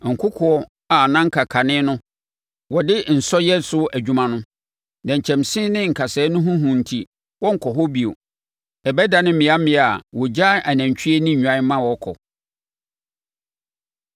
Nkokoɔ a na anka kane no wɔde nsɔ yɛ so adwuma no, nnɛnkyɛnse ne nkasɛɛ ho hu enti wɔrenkɔ hɔ bio. Ɛbɛdane mmeammea a wogyaa anantwie ne nnwan ma wɔkɔ.